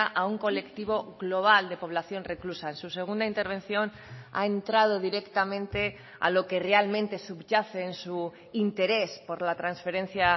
a un colectivo global de población reclusa en su segunda intervención ha entrado directamente a lo que realmente subyace en su interés por la transferencia